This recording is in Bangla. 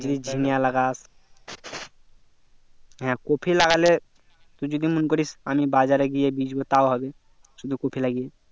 যদি ঝিঙে লাগাস হ্যাঁ কপি লাগালে তুই যদি মন করিস আমি বাজারে গিয়ে বেচবো তাও হবে শুধু কপি লাগিয়ে